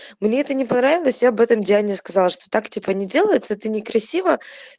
мне это не понравилось я об этом диане сказала что так типа не делается это некрасиво